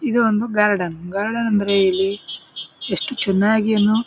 ಇದೊಂದು garden garden ಅಂದ್ರೆ ಇಲ್ಲಿ ಎಷ್ಟು ಚೆನ್ನಾಗಿಯೂನು --